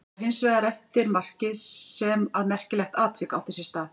Það var hins vegar eftir markið sem að merkilegt atvik átti sér stað.